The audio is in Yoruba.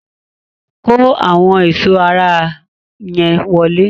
Kó àwọn ẹ̀sọ́ ara yẹn wọlé!